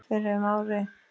fyrir um ári.